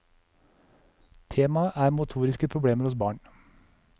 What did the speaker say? Temaet er motoriske problemer hos barn.